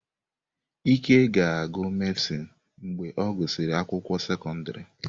Ike ga-agụ mehsịn mgbe ọ gụsịrị akwụkwọ sekọndrị.